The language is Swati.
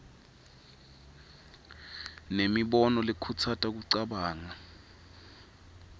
nemibono lekhutsata kucabanga